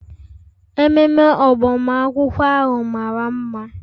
Ememe agbamakwụkwọ ahụ mara mma.